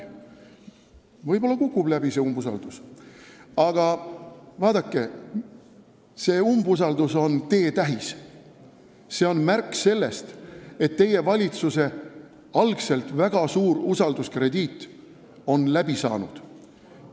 Võib-olla kukubki läbi, aga vaadake, see on teetähis, see on märk sellest, et usalduskrediit, mis teie valitsusel oli algul väga suur, on otsa saanud.